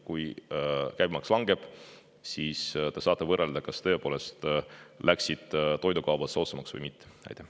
Kui käibemaks langeb, siis te saate võrrelda, kas toidukaubad läksid soodsamaks või mitte.